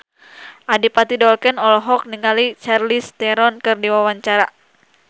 Adipati Dolken olohok ningali Charlize Theron keur diwawancara